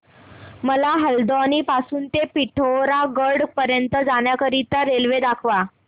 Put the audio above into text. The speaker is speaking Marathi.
मला हलद्वानी पासून ते पिठोरागढ पर्यंत जाण्या करीता रेल्वे दाखवा